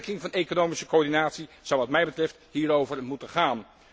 Versterking van economische coördinatie zou wat mij betreft hierover moeten gaan.